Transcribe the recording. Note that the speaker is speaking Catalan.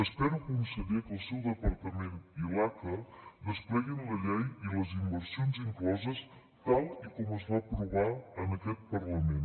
espero conseller que el seu departament i l’aca despleguin la llei i les inversions incloses tal com es va aprovar en aquest parlament